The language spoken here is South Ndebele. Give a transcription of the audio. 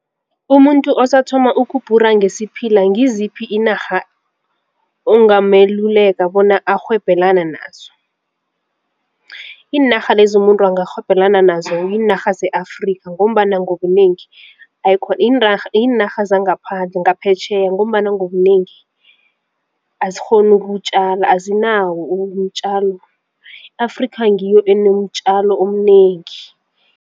Umuntu osathoma ukubhura ngesiphila ngiziphi inarha ongameluleka bona arhwebelani nazo? Iinarha lezi umuntu angarhwebelana nazo yiinarha se-Afrika ngombana ngobunengi ayikho yiinarha zangaphandle ngaphetjheya ngombana ngobunengi azikghoni ukutjala azinawo umtjala i-Afrika ngiyo enomtjalo omnengi.